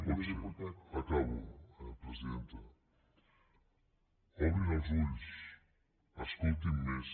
pot ser acabo presidenta obrin els ulls escoltin més